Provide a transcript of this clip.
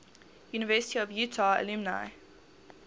university of utah alumni